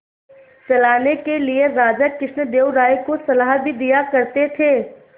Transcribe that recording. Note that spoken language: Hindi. चलाने के लिए राजा कृष्णदेव राय को सलाह भी दिया करते थे